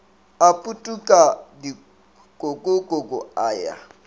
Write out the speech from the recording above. a putuka dikokoko a ya